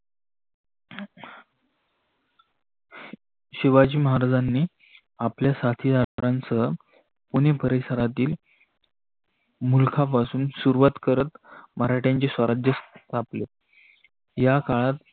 शिवाजी महाराजांनी आपले साथीदारांसह पुणे परिसराती मुल्कापाशून मराठाचे स्वराज्या स्यापले. या काळात